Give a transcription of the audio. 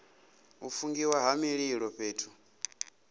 u fungiwa ha mililo fhethu